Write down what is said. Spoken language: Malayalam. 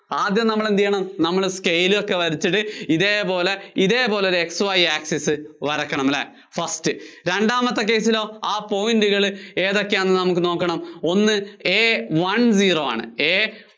ആദ്യം നമ്മള്‍ എന്ത് ചെയ്യണം? നമ്മള്‍ scale ഒക്കെ വച്ചിട്ട്, ഇതേപോലെ, ഇതേപോലെ ഒരു X Y access വരയ്ക്കണം അല്ലേ first രണ്ടാമത്തെ case ലോ ആ point കള് ഏതൊക്കെയാണെന്ന് നമുക്ക് നോക്കണം. ഒന്ന് A one zero ആണ്. A